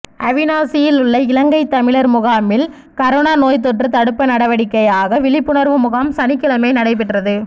அவிநாசியில் உள்ள இலங்கைத் தமிழர் முகாமில் கரோனா நோய்த் தொற்று தடுப்பு நடவடிக்கையாக விழிப்புணர்வு முகாம் சனிக்கிழமை நடைபெற்றது